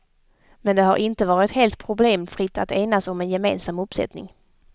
Men det har inte varit helt problemfritt att enas om en gemensam uppsättning.